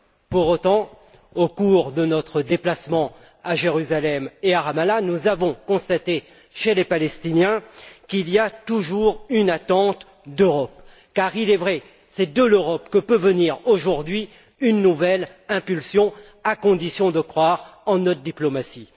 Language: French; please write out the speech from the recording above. Pour autant, au cours de notre déplacement à Jérusalem et Ramallah, nous avons constaté chez les Palestiniens qu'il y a toujours une attente d'Europe, car, il est vrai, c'est de l'Europe que peut venir aujourd'hui une nouvelle impulsion à condition de croire en notre diplomatie.